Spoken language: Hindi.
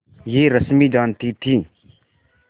यह रश्मि जानती थी